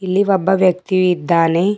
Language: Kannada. ಇಲ್ಲಿ ಒಬ್ಬ ವ್ಯಕ್ತಿ ಯು ಇದ್ದಾನೆ.